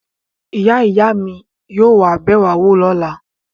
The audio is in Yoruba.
Ìyá-ìyá mi yóò wá bẹ̀ wá wò lọ́la.